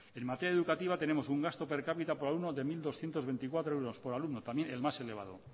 en materia educativa tenemos un gasto per cápita por alumno de mil doscientos veinticuatro euros por alumno también el más elevado